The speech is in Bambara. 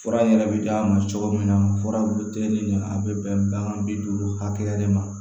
Fura yɛrɛ bɛ d'a ma cogo min na furabuteli de a bɛ bɛn bagan bi duuru hakɛya de ma